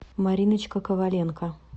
мариночка коваленко